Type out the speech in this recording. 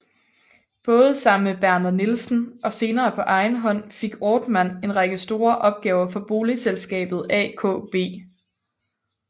Både sammen med Berner Nielsen og senere på egen hånd fik Ortmann en række store opgaver for boligselskabet AKB